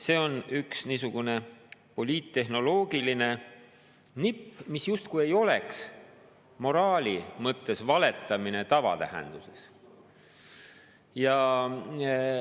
See on üks niisugune poliittehnoloogiline nipp, mis justkui ei oleks moraali mõttes valetamine selle tavatähenduses.